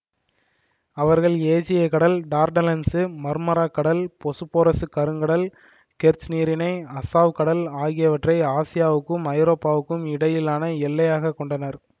அவர்கள் ஏஜியக் கடல் டார்டனெல்சு மர்மாராக் கடல் பொசுப்போரசு கருங்கடல் கெர்ச் நீரிணை அசாவ் கடல் ஆகியவற்றை ஆசியாவுக்கும் ஐரோப்பாவுக்கும் இடையிலான எல்லையாகக் கொண்டனர்